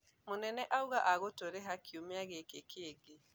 Mũnene auga agatũriha kiumia gĩĩkĩ kĩngĩ.